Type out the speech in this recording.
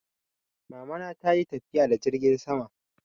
Mamana ta yi tafiya da jirgin sama.